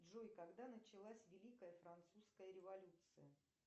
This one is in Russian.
джой когда началась великая французская революция